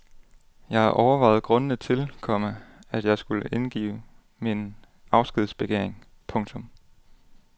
Jeg har overvejet grundene til, komma at jeg skulle indgive min afskedsbegæring. punktum